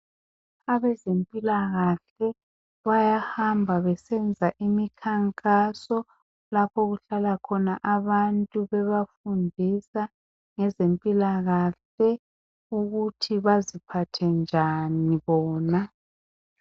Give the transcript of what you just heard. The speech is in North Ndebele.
Abezempilakahle bayahamba besenza imikhankaso lapho okuhlala khona abantu bebafundisa ngezempilakahle ukuthi baziphathe njani bona.